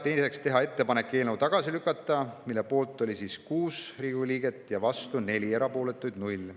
Teiseks, teha ettepanek eelnõu tagasi lükata, selle poolt oli 6 liiget, vastu 4 ja erapooletuid 0.